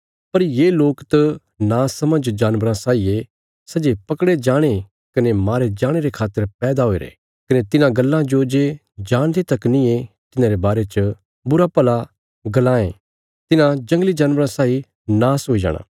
पर ये लोक त नासमझ जानबराँ साई ये सै जे पकड़े जाणे कने मारे जाणे रे खातर पैदा हुईरे कने तिन्हां गल्लां जो जे जाणदे तक नींये तिन्हांरे बारे च बुराभला गल्लां ये तिन्हां जंगली जानबराँ साई नाश हुई जाणा